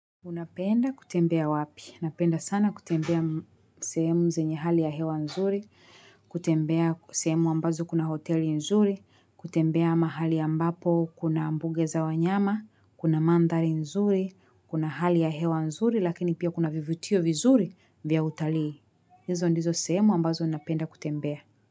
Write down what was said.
Unapenda kutembea wapi? Napenda sana kutembea sehemu zenye hali ya hewa nzuri, kutembea sehemu ambazo kuna hoteli nzuri, kutembea mahali ambapo kuna mbuga za wanyama, kuna mandhari nzuri, kuna hali ya hewa nzuri lakini pia kuna vivutio vizuri vya utalii. Hizo ndizo sehemu ambazo napenda kutembea.